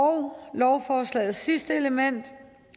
lovforslagets sidste element